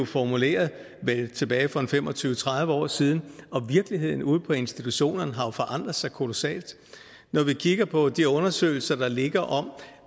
formuleret tilbage for en fem og tyve til tredive år siden og virkeligheden ude på institutionerne har jo forandret sig kolossalt når vi kigger på de undersøgelser der ligger om